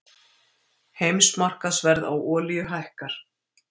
Heimsmarkaðsverð á olíu hækkar